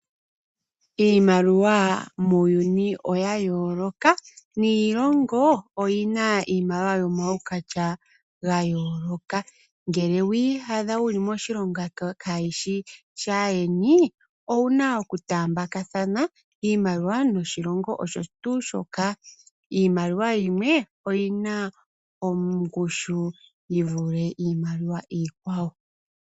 Iimaliwa muuyuni oyayooloka, niilongo oyina iimaliwa yomaukwatya gayooloka. Ngele owiiyadha wuli moshilongo kaashishi shaayeni owuna oku taambathana iimaliwa yoshilongo osho tuu shoka. Iimaliwa yimwe oyina ongushu yivule iimaliwa iikwawo.